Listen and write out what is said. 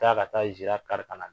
Ka taa ka taa nzira kari ka. na